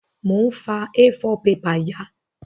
Mo n fa A4 paper ya